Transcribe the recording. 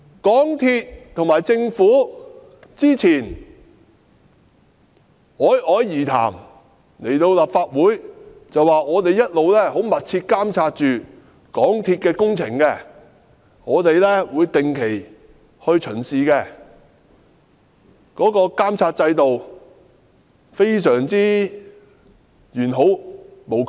港鐵公司和政府早前侃侃而談，來到立法會表示，他們一直密切監察港鐵工程，會定期巡視，監察制度完好無缺。